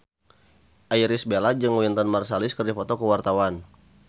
Irish Bella jeung Wynton Marsalis keur dipoto ku wartawan